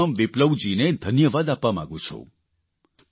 હું જયરામ વિપ્લવજીને ધન્યવાદ આપવા માંગું છું